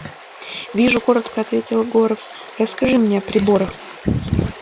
вижу коротко ответил горов расскажи мне о приборах